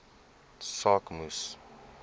saak moes